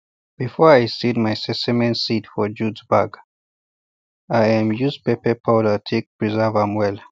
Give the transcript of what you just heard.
before i seal my sesame seeds for jute bag i um use pepper powder take preserve am well